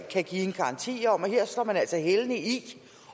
give en garanti om at her sætter man altså hælene i